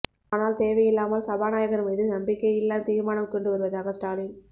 ஆனால் தேவை இல்லாமல் சபாநாயகர் மீது நம்பிக்கை இல்லா தீர்மானம் கொண்டு வருவதாக ஸ்டாலின்